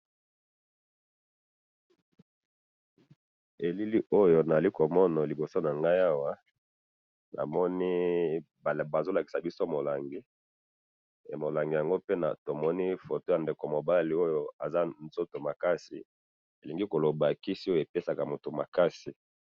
elili oyo nazali komona na liboso nangai awa, namoni bazolakisa biso molangi, molangi yango pe, tomoni photo ya ndeko mobali oyo, aza nzoto makasi, elingi koloba kisi oyo epesaka mutu makasi